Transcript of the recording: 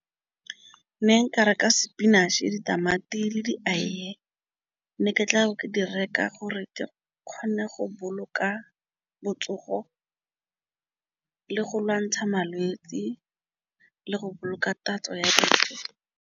Nne nkare ke spinach-e, ditamati le . Nne ke tla di reka gore ke kgone go boloka botsogo le go lwantsha malwetsi le go boloka tatso ya dijo.